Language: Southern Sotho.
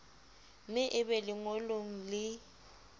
me e be lengolong le